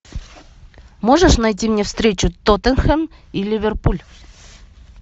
можешь найти мне встречу тоттенхэм и ливерпуль